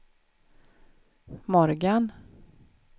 Morgan